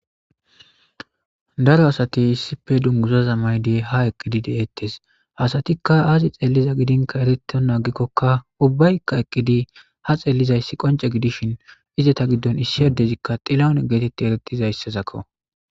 Daro asati issife dunguzaza mayidi ha eqqidi deettes hasatikka aazi xelliza gidinkka eretonaagikkokka ubbaykka eqqidi ha xellizayssi qonce gidishin izeta giddon issi adezikka xilaone geetetti erettizayssazakko